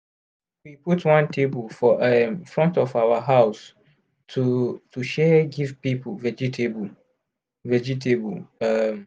we put one table for um front of our house to to share give people vegetable. vegetable. um